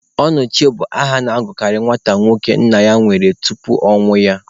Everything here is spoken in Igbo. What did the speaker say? Ọnọchie bụ aha a na-agụkarị nwata nwoke nna ya nwụrụ tupu amụọ ya.